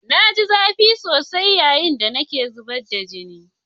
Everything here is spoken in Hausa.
Na ji zafi sosai yayin da nake zubar da jini.